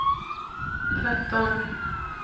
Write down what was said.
tretton